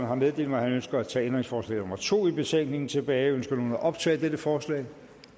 har meddelt mig at han ønsker at tage ændringsforslag nummer to i betænkningen tilbage ønsker nogen at optage dette forslag